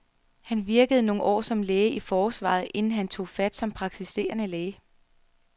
Han virkede nogle år som læge i forsvaret, inden han tog fat som praktiserende læge.